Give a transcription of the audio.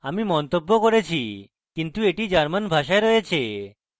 আমি মন্তব্য করেছি কিন্তু এটি শুধুমাত্র german ভাষায় রয়েছে